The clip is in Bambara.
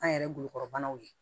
An yɛrɛ golokɔrɔbanaw ye